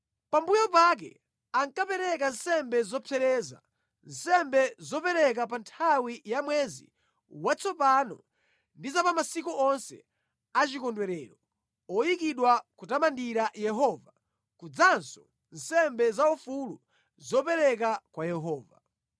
Pambuyo pake, ankapereka nsembe zopsereza, nsembe zopereka pa nthawi ya mwezi watsopano ndi za pa masiku onse a chikondwerero oyikidwa kutamandira Yehova, kudzanso nsembe zaufulu zopereka kwa Yehova.